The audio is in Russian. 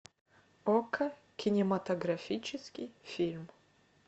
окко кинематографический фильм